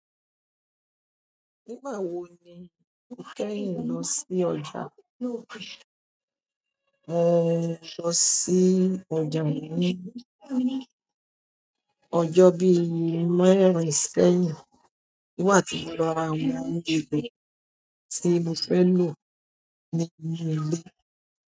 Nígbà wo ni o kẹ́yìn lọ sí ọjà? Mo lọ sí ọjà ní ọjọ́ mẹ̀rìn ṣẹ́yìn, nígbà tí mo lọ ra àwọn ohun èlò tí mo fẹ́ lò ní inú ilé.